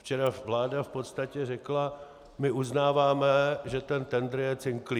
Včera vláda v podstatě řekla: My uznáváme, že ten tendr je cinklý.